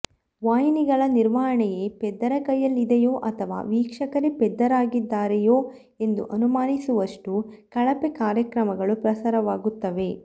ವಾಹಿನಿಗಳ ನಿರ್ವಹಣೆಯೇ ಪೆದ್ದರ ಕೈಯಲ್ಲಿ ಇದೆಯೋ ಅಥವಾ ವೀಕ್ಷಕರೇ ಪೆದ್ದರಾಗಿದ್ದಾರೆಯೋ ಎಂದು ಅನುಮಾನಿಸುವಷ್ಟು ಕಳಪೆ ಕಾರ್ಯಕ್ರಮಗಳು ಪ್ರಸಾರವಾಗುತ್ತವೆ